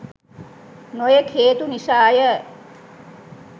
නොයෙක් හේතු නිසාය